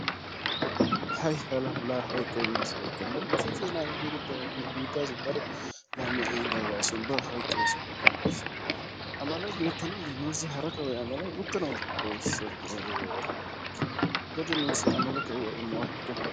hay hala! hayqqoy masha ekko! Melese Zenawa getettiyaaga nu biittassi daro laamiya ehida asi ubba hayqqoosappekka gam''iis. a malay beettanaw dii nuussi hara kawoy a malay uttanaw dii? xoosso poora gaa! Godi nuussi a mala kawuwaa immo haykka.